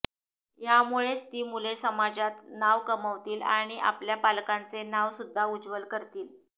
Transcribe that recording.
यामुळेच ती मुले समाजात नाव कमावतील आणि आपल्या पालकांचे नाव सुद्धा उज्ज्वल करतील